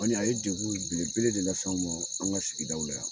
O ni a ye degun belebele de lase anw ma, an ka sigidaw la yan.